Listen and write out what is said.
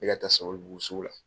E ka taa SABALIBUGU sugu la.